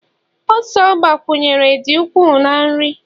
ose ọ gbakwunyere dị ukwuu na nri